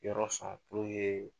Yɔrɔ sɔn kun ye